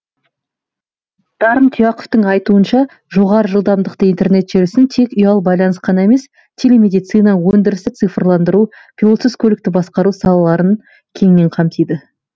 дарын тұяқовтың айтуынша жоғары жылдамдықты интернет желісін тек ұялы байланыс қана емес телемедицина өндірісті цифрландыру пилотсыз көлікті басқару салаларын кеңінен қамтиды